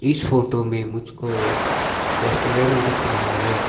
इस फोटो में मुझको एक रेस्टोरेंट दिख रहा है।